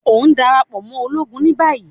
O n darapọ mọ ologun ni bayi!